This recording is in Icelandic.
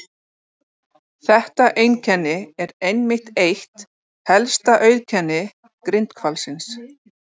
Þetta einkenni er einmitt eitt helsta auðkenni grindhvalsins.